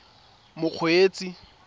mokgweetsi